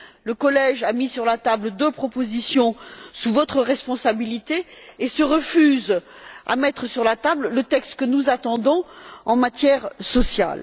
Le collège a mis sur la table deux propositions sous votre responsabilité et se refuse à mettre sur la table le texte que nous attendons sur le volet social.